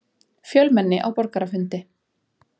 Fjölmenni á borgarafundi